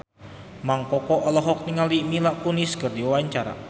Mang Koko olohok ningali Mila Kunis keur diwawancara